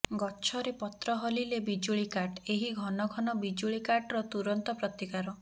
ଗଛରେ ପତ୍ର ହଲିଲେ ବିଜୁଳି କାଟ ଏହି ଘନ ଘନ ବିଜୁଳିକାଟର ତୁରନ୍ତ ପ୍ରତିକାର